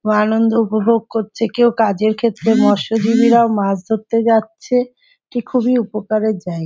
আনন্দ উপভোগ করছে কেউ কাজের ক্ষেত্রে মৎসজীবীরাও মাছ ধরতে যাচ্ছে এটি খুবই উপকারের জায়গা।